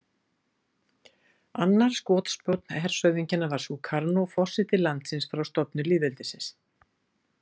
Annar skotspónn hershöfðingjanna var Sukarno, forseti landsins frá stofnun lýðveldisins.